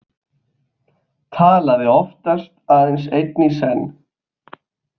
Talaði oftast aðeins einn í senn.